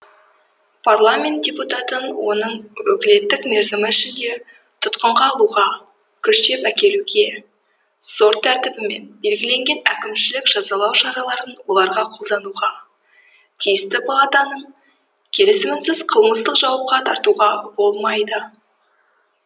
парламент депутатын оның өкілеттік мерзімі ішінде тұтқынға алуға күштеп әкелуге сот тәртібімен белгіленетін әкімшілік жазалау шараларын оларға қолдануға тиісті палатаның келісімінсіз қылмыстық жауапқа тартуға болмайды